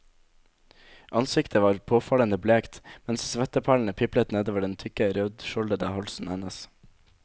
Ansiktet var påfallende blekt, mens svetteperlene piplet nedover den tykke, rødskjoldete halsen hennes.